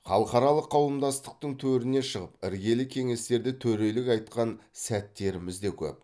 халықаралық қауымдастықтың төріне шығып іргелі кеңестерде төрелік айтқан сәттеріміз де көп